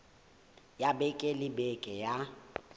ya beke le beke ya